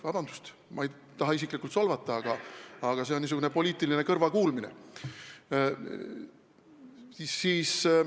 Vabandust, ma ei taha isiklikku solvangut kasutada, jutt on niisugusest poliitilisest kõrvakuulmisest.